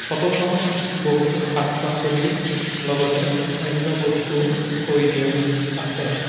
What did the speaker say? Photo খনত বহুতো শাক পাচলিৰ লগতে অন্য বস্তুও থৈ দিয়া আছে।